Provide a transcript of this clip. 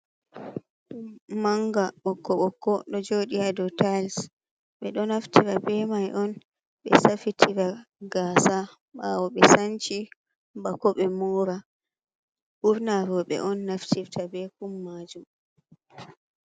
Kum manga ɓokko ɓokko ɗo jodi ha do tiles, ɓe ɗo naftira be be mai on ɓe safitira gasa bawo ɓe sanshi bako be mora ɓurna roɓe on naftirfta be kum majum.